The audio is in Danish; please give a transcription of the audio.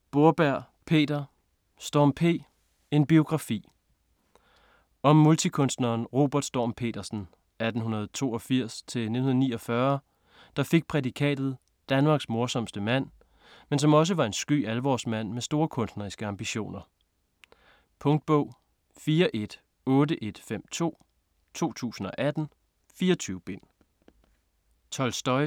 Borberg, Peter: Storm P.: en biografi Om multikunstneren Robert Storm Petersen (1882-1949), der fik prædikatet "Danmarks morsomste mand", men som også var en sky alvorsmand med store kunstneriske ambitioner. Punktbog 418152 2018. 24 bind.